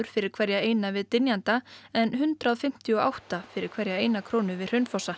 fyrir hverja eina við dynjanda en hundrað fimmtíu og átta fyrir hverja eina krónu við Hraunfossa